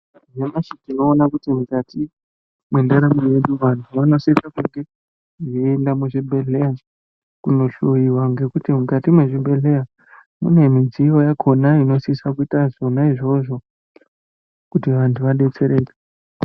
Nhasi uno tinoona kuti mukati mwendaramo yedu vanthu vanosise kunge veiende muzvibhedhlera kundohloyiwa ngekuti mukati mwezvibhedhlera mune midziyo inosise kuite zvona izvozvo kuti vantu vadetsereke.